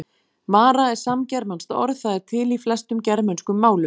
Mara er samgermanskt orð, það er til í flestum germönskum málum.